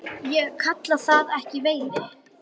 Ég kalla það ekki veiði.